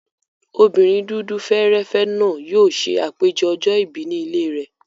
Obìnrin dúdú fẹ́ẹ́rẹ́fẹ́ náà yóò ṣe àpèjẹ ọjọ́ ìbí ní ilé rẹ̀.